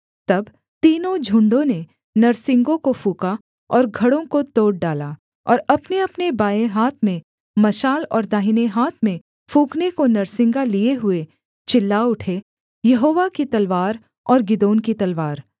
तब तीनों झुण्डों ने नरसिंगों को फूँका और घड़ों को तोड़ डाला और अपनेअपने बाएँ हाथ में मशाल और दाहिने हाथ में फूँकने को नरसिंगा लिए हुए चिल्ला उठे यहोवा की तलवार और गिदोन की तलवार